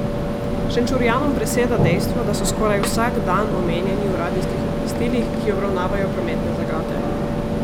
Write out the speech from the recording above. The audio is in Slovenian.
Šenčurjanom preseda dejstvo, da so skoraj vsak dan omenjeni v radijskih obvestilih, ki obravnavajo prometne zagate.